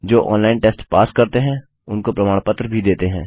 जो online test pass करते हैं उनको प्रमाण पत्र भी देते हैं